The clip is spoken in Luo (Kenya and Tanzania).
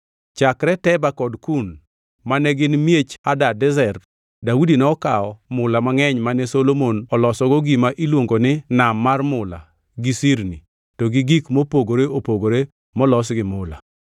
Chakre Teba kod Kun, mane gin miech Hadadezer, Daudi nokawo mula mangʼeny, mane Solomon olosogo gima iluongo ni Nam mar mula gi sirni, to gi gik mopogore opogore molos gi mula.